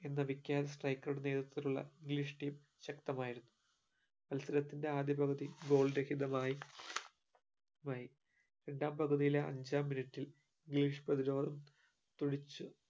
എന്ന വിക്യാൻ striker ഉടെ നേതിത്രത്തിലുള്ള english team ശക്തമായിരുന്നു മത്സരത്തിന്റെ ആദ്യപകുതി goal രഹിതമായി മായി മായി രണ്ടാം പകുതീലെ അഞ്ചാം minute ൽ english പ്രതിരോധം തുടിച്